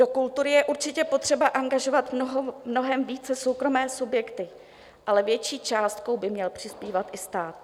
Do kultury je určitě potřeba angažovat mnohem více soukromé subjekty, ale větší částkou by měl přispívat i stát.